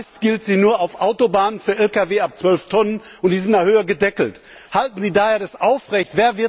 Meist gilt sie nur auf Autobahnen für Lkw ab 12 Tonnen und ist in der Höhe gedeckelt. Halten Sie das daher aufrecht?